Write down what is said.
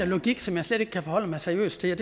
logik som jeg slet ikke kan forholde mig seriøst til